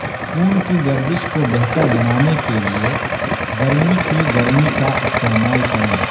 خون کی گردش کو بہتر بنانے کے لئے گرمی کی گرمی کا استعمال کریں